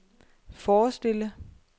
forestille